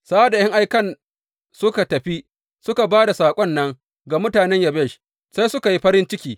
Sa’ad da ’yan aikan suka tafi, suka ba da saƙon nan ga mutanen Yabesh, sai suka farin ciki.